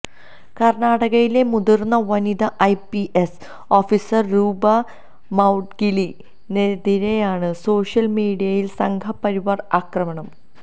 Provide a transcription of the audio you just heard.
കര്ണാടകയിലെ മുതിര്ന്ന വനിത IPS officer Roopa മൌഡ്ഗിലിനെതിരെയാണ് സോഷ്യല്മീഡിയയില് സംഘപരിവാര് ആക്രമണം